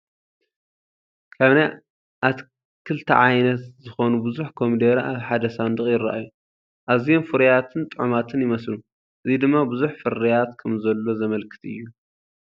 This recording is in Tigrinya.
ካብ ናይ ኣትክልቲ ዓይነት ዝኾኑ ብዙሕ ኮሚደረ ኣብ ሓደ ሳንዱቕ ይራኣዩ። ኣዝዮም ፍሩያትን ጥዑማትን ይመስሉ፣ እዚ ድማ ብዙሕ ፍርያት ከምዘሎ ዘመልክት እዩ።